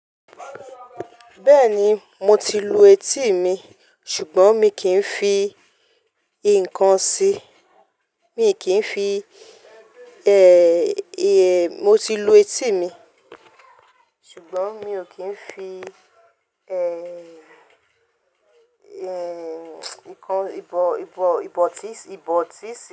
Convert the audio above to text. Bẹ́ẹ̀ni, mo ti lu etí mi, ṣùgbọ́n mi kì ń fi nǹkan sí i, mi kì n fi, ẹ́, mo ti lu etí mi, ṣùgbọ́n mi ò kí ń fi, ẹ́, nǹkan, ìbò, ìbò, ìbò ti sí.